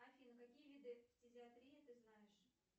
афина какие виды фтизиатрии ты знаешь